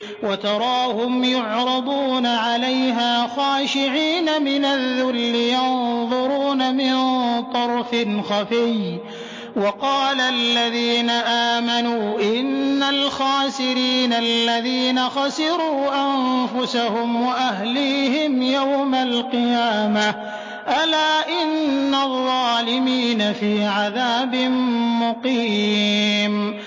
وَتَرَاهُمْ يُعْرَضُونَ عَلَيْهَا خَاشِعِينَ مِنَ الذُّلِّ يَنظُرُونَ مِن طَرْفٍ خَفِيٍّ ۗ وَقَالَ الَّذِينَ آمَنُوا إِنَّ الْخَاسِرِينَ الَّذِينَ خَسِرُوا أَنفُسَهُمْ وَأَهْلِيهِمْ يَوْمَ الْقِيَامَةِ ۗ أَلَا إِنَّ الظَّالِمِينَ فِي عَذَابٍ مُّقِيمٍ